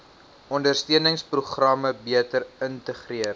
ondersteuningsprogramme beter integreer